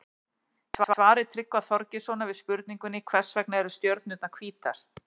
Í svari Tryggva Þorgeirssonar við spurningunni Hvers vegna eru stjörnurnar hvítar?